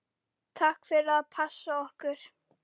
Takk fyrir að passa okkur.